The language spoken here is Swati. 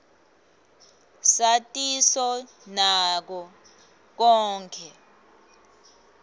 satiso nako konkhe